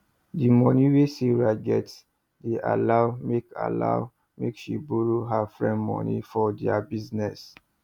the moni wey sarah get dey allow make allow make she borrow her friends moni for their business